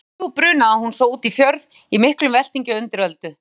Klukkan þrjú brunaði hún svo út fjörð í miklum veltingi og undiröldu.